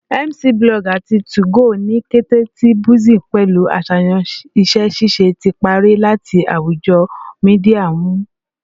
MCIIBlog ati 2go, ni kete ti buzzing pẹlu aṣayan iṣẹ-ṣiṣe, ti parẹ lati awujo media nmu